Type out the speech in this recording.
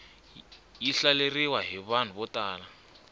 yi hlaleriwa hi vanhu vo tala